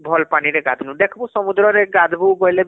ଭଲ ପାନୀରେ ଗାଧନୁ ଦେଖନୁ ସମୁଦ୍ର ରେ ଗାଧବୁ ବୋଲି ଭଲ ନାଇଁ ଲାଗେ